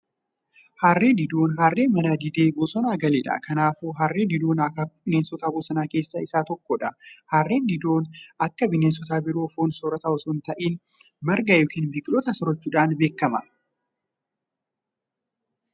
Harree diidoon harree mana didee bosona galeedha. Kanaafuu harree diidoon akaakuu bineensota bosonaa keessaa isa tokkodha. Harree diidoon akka bineensota biroo foon soorota osoon ta'in, Marga yookiin biqiltootaa soorachuudhan beekama.